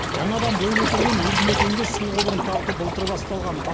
жаңадан бой көтерген елді мекенге су құбырын тарту былтыр басталған